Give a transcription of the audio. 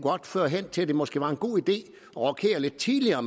føre hen til at det måske var en god idé at rokere lidt tidligere og